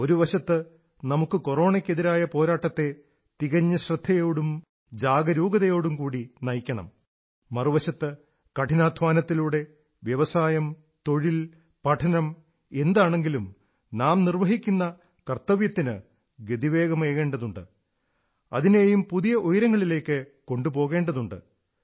ഒരു വശത്ത് നമുക്ക് കൊറോണയ്ക്കെതിരായ പോരാട്ടത്തെ തികഞ്ഞ ശ്രദ്ധയോടും ജാഗരൂകതയോടും കൂടി നയിക്കണം മറുവശത്ത് കഠിനാധ്വാനത്തിലൂടെ വ്യവസായം തൊഴിൽ പഠനം എന്താണെങ്കിലും നാം നിർവ്വഹിക്കുന്ന കർത്തവ്യത്തിനു ഗതിവേഗമേകേണ്ടതുണ്ട് അതിനെയും പുതിയ ഉയരങ്ങളിലേക്കു കൊണ്ടുപോകേണ്ടതുണ്ട്